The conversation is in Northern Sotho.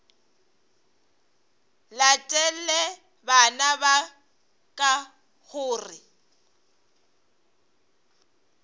latele bana ba ka gore